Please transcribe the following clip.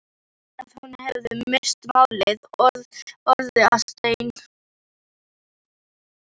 Betur að hún hefði misst málið, orðið að steini.